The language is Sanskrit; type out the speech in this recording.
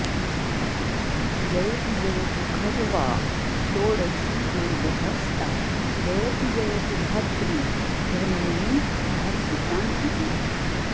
जयतु जयतु खर्वा षोडशी वेदहस्ता जयतु जयतु धात्री धर्मिणी धातृशान्तिः